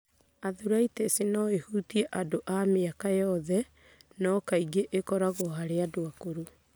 Arthritis no ĩhutie andũ a mĩaka yothe, no kaingĩ ĩkoragwo harĩ andũ akũrũ.